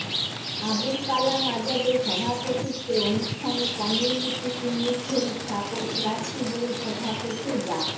আবুল কালাম আজাদের সভাপতিত্বে অনুষ্ঠানে community clinic health support trustee বোর্ডের সভাপতি ডা